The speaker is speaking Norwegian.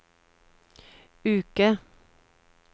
uke